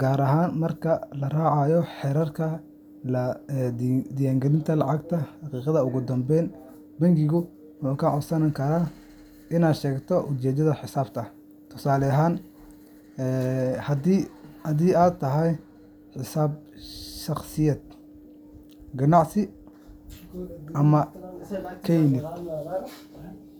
gaar ahaan marka la raacayo xeerarka la dagaalanka lacag-dhaqidda. Ugu dambayn, bangigu wuxuu kaa codsan karaa inaad sheegto ujeedada xisaabta — tusaale ahaan, haddii ay tahay xisaab shaqsiyeed, ganacsi, ama kaydin.